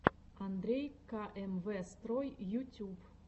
андрей ка эм вэ строй ютюб